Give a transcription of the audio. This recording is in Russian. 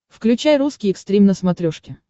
включай русский экстрим на смотрешке